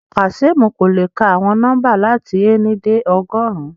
Kazeem ko le ka awọn nọmba lati éni de ọgọrun